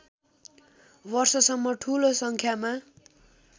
वर्षसम्म ठूलो सङ्ख्यामा